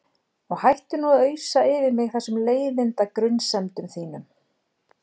Og hættu nú að ausa yfir mig þessum leiðinda grunsemdum þínum.